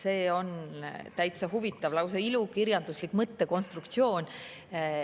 See on täitsa huvitav, lausa ilukirjanduslik mõttekonstruktsioon.